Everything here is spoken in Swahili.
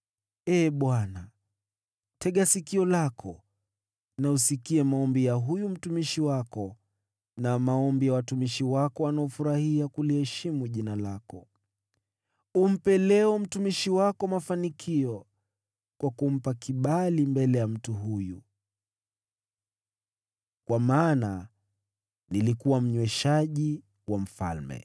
Ee Bwana, tega sikio lako na usikie maombi ya huyu mtumishi wako, na maombi ya watumishi wako wanaofurahia kuliheshimu Jina lako. Nipe leo, mimi mtumishi wako, mafanikio kwa kunipa kibali mbele ya mtu huyu.” Kwa maana nilikuwa mnyweshaji wa mfalme.